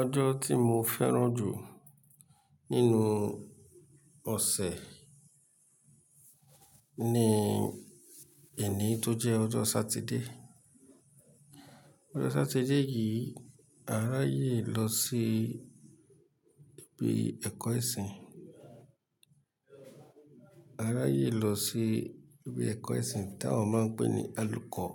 Ọjọ́ tí mo fẹ́ràn jù nínú ọ̀sẹ̀ ni ení tó jẹ́ ọjọ́ Sátidé. Ọjọ́ Sátidé yìí a ráyè lọ sí ibi ẹ̀kọ́ ẹ̀sìn. A ráyè lọ sí ibi ẹ̀kọ́ ẹ̀sìn tí àwọn máa ń pè ní Àlùkọ̀